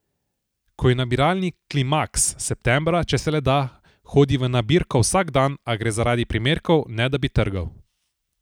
Ko je nabiralni klimaks, septembra, če se le da, hodi v nabirko vsak dan, a gre zaradi primerkov, ne da bi trgal.